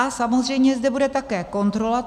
A samozřejmě zde bude také kontrola.